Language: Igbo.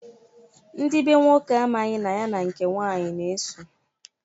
Ndị be nwoke amaghị na ya na nke nwanyị na-eso.